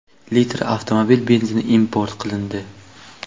litr avtomobil benzini import qilindi.